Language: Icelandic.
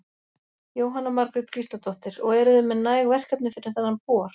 Jóhanna Margrét Gísladóttir: Og eruð þið með næg verkefni fyrir þennan bor?